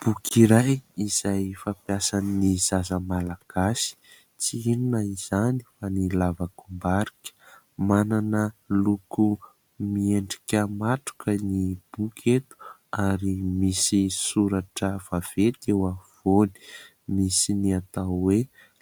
Boky iray izay fampiasan'ny zaza Malagasy. Tsy inona izany fa ny lavakombarika. Manana loko miendrika matroka ny boky eto ary misy soratra vaventy eo afovoany. Misy ny atao hoe